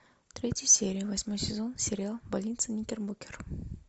третья серия восьмой сезон сериал больница никербокер